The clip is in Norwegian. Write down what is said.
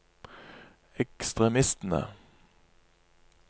ekstremistene